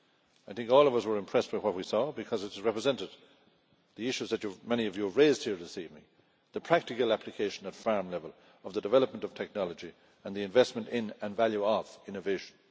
I think all of us were impressed with what we saw because it is representative of many of the issues you have raised here this evening the practical application at farm level of the development of technology and the investment in and value of innovation.